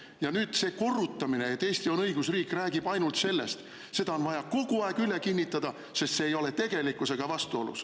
Ja nüüd see korrutamine, et Eesti on õigusriik, räägib ainult sellest: seda on vaja kogu aeg üle kinnitada sellepärast, et see ei ole tegelikkusega vastuolus ...